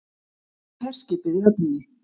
Og herskipið í höfninni.